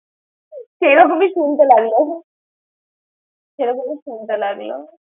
কেরকমি সুনতে লাগলো। সেরকম সুনতে লাগলো।